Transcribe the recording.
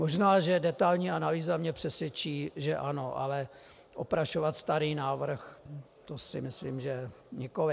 Možná že detailní analýza mě přesvědčí, že ano, ale oprašovat starý návrh, to si myslím, že nikoliv.